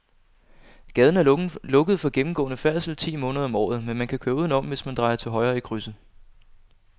Gaden er lukket for gennemgående færdsel ti måneder om året, men man kan køre udenom, hvis man drejer til højre i krydset.